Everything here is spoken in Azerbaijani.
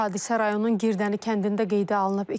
Hadisə rayonun Girdəni kəndində qeydə alınıb.